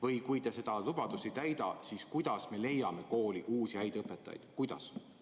Või kui te seda lubadust ei täida, siis kuidas me leiame kooli uusi häid õpetajaid?